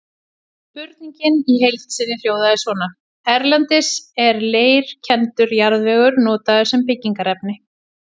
Spurningin í heild sinni hljóðaði svona: Erlendis er leirkenndur jarðvegur notaður sem byggingarefni.